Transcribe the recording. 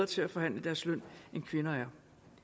til at forhandle deres løn end kvinder er